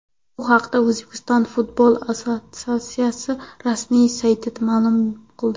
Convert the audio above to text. Bu haqda O‘zbekiston futbol assotsiatsiyasi rasmiy sayti ma’lum qildi .